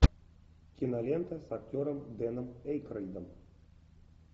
кинолента с актером дэном эйкройдом